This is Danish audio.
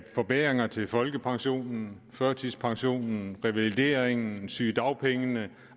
forbedringer til folkepensionen førtidspensionen revalideringen sygedagpengene